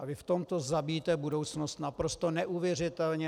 A vy v tomto zabíjíte budoucnost naprosto neuvěřitelně.